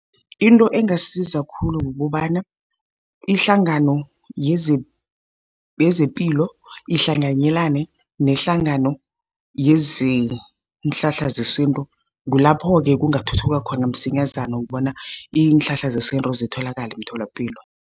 Into engasiza khulu kukobana, ihlangano yezepilo ihlanganyelane nehlangano yeenhlahla zesintu. Kulapho-ke kungathuthuka khona msinyazana ukubona iinhlahla zesintu zitholakale emtholapilo.